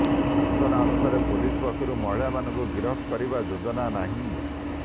ସୂଚନାନୁସାରେ ପୁଲିସ ପକ୍ଷରୁ ମହିଳାମାନଙ୍କୁ ଗିରଫ କରିବା ଯୋଜନା ନାହିଁ